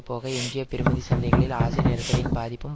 போக எஞ்சிய பெறுமதி சந்தைகளில் ஆசிய நெருக்கடியின் பாதிப்பும்